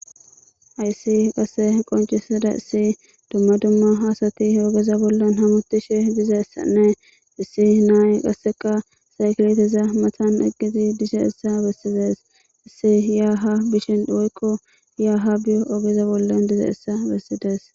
Hayssi qasse qonchisada issi dumma dumma hasati ogeza bollan hamutishe diza essanne issi naay qasseka saykileteza matan egidi disha issa bessides issi yaa ha bishin woykko yaaha biyo ogeza bollan diza essa bessides.